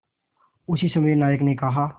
उसी समय नायक ने कहा